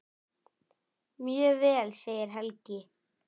Mjög vel segir Helgi.